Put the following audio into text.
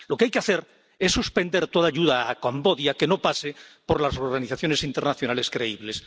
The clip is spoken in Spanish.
Lo que hay que hacer es suspender toda ayuda a Camboya que no pase por las organizaciones internacionales creíbles.